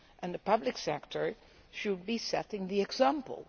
The public sector should be setting the example.